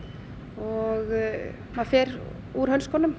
og maður fer úr